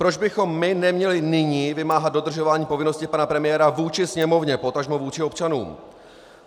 Proč bychom my neměli nyní vymáhat dodržování povinnosti pana premiéra vůči Sněmovně, potažmo vůči občanům?